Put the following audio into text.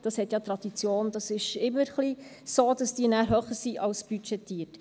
Das hat ja Tradition, das ist immer ein wenig so, dass diese nachher höher sind als budgetiert.